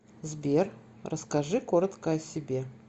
сбер расскажи коротко о себе